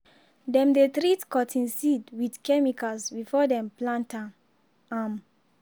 dem dey treat cotton seed with chemicals before dem plant am. am.